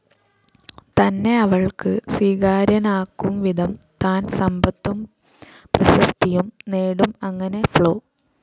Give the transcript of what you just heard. തന്നെ അവൾക്ക് സ്വീകാര്യനാക്കുംവിധം താൻ സമ്പത്തും പ്രശസ്തിയും നേടും അങ്ങനെ ഫ്ലോ.